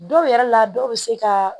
Dɔw yɛrɛ la dɔw bɛ se ka